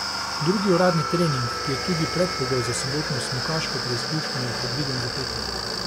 Drugi uradni trening, ki je tudi predpogoj za sobotno smukaško preizkušnjo, je predviden za petek.